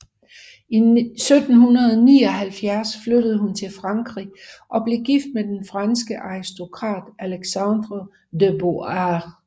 I 1779 flyttede hun til Frankrig og blev gift med den franske aristokrat Alexandre de Beauharnais